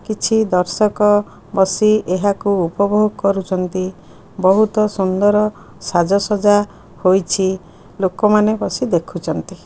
କିଛି ଦର୍ଶକ ବସି ଏହାକୁ ଉପଭୋଗ କରୁଚନ୍ତି ବହୁତ ସୁନ୍ଦର ସାଜ ସଜା ହୋଇଚି ଲୋକ ମାନେ ବସି ଦେଖୁଚନ୍ତି।